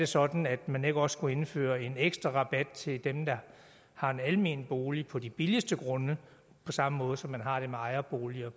sådan at man også kunne indføre en ekstra rabat til dem der har en almen bolig på de billigste grunde på samme måde som man har det med ejerboliger